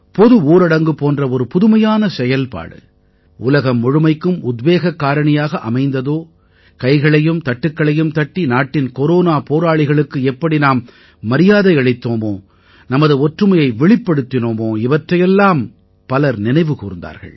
பொது ஊரடங்கு போன்ற ஒரு புதுமையான செயல்பாடு உலகம் முழுமைக்கும் உத்வேகக் காரணியாக அமைந்ததோ கைகளையும் தட்டுக்களையும் தட்டி நாட்டின் கொரோனா போராளிகளுக்கு எப்படி நாம் மரியாதை அளித்தோமோ நமது ஒற்றுமையை வெளிப்படுத்தினோமோ இவற்றையெல்லாம் பலர் நினைவு கூர்ந்தார்கள்